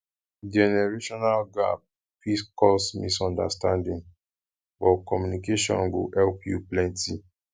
generational gap fit cause misunderstanding but communication go help you plenty